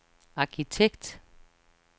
arkitekt